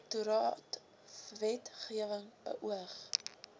direktoraat wetgewing beoog